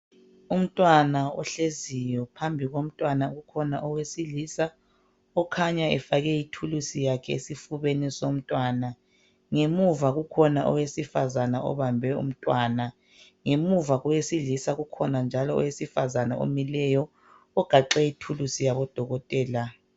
Umtwana ohleziyo, phambi komtwana ukhona owesilisa okhanya efake ithulusi yakhe esifubeni somtwana. Ngemuva kukhona owesifazana obambe umtwana. Ngemuva kowesilisa kukhona njalo owesifazana omileyo ogaxe ithulusi yabodokotela.